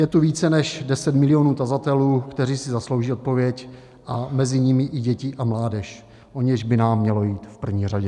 Je tu více než 10 milionů tazatelů, kteří si zaslouží odpověď, a mezi nimi i děti a mládež, o něž by nám mělo jít v první řadě.